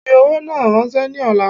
Fi owó náà rànsẹ́ ni ọ̀la